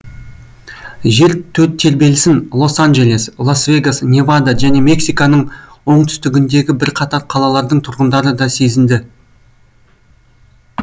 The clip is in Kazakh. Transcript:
жер тербелісін лос анджелес лас вегас невада және мексиканың оңтүстігіндегі бірқатар қалалардың тұрғындары да сезінді